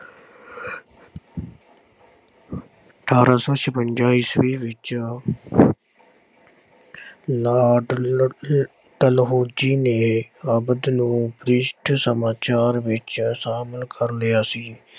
ਅਠਾਰਾਂ ਸੌ ਛਪੰਜਾ ਈਸਵੀ ਵਿੱਚ ਲਾਰਡ ਡਲਹੋਜੀ ਨੇ ਨੂੰ ਭ੍ਰਿਸ਼ਟ ਸਮਾਚਾਰ ਵਿੱਚ ਸ਼ਾਮਲ ਕਰ ਲਿਆ ਸੀ।